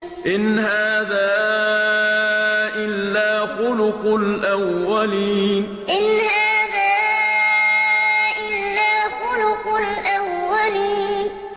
إِنْ هَٰذَا إِلَّا خُلُقُ الْأَوَّلِينَ إِنْ هَٰذَا إِلَّا خُلُقُ الْأَوَّلِينَ